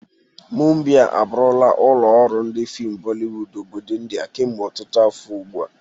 Mumbai abụrụla ụlọ ọrụ ndi fim Bolliwod obodo Indià kemgbe ọtụtụ afọ ugbu a.